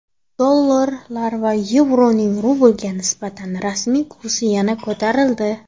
Dollar va yevroning rublga nisbatan rasmiy kursi yana ko‘tarildi.